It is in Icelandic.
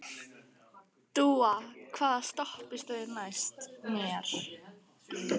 Dúa, hvaða stoppistöð er næst mér?